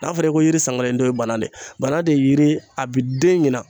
N'a fɔra i ko yiri san kelen den banan de ye banan de ye yiri a bɛ den ɲinan